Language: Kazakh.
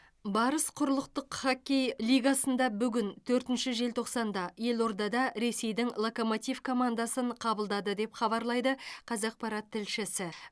барыс құрлықтық хоккей лигасында бүгін төртінші желтоқсанда елордада ресейдің локомотив командасын қабылдады деп хабарлайды қазақпарат тілшісі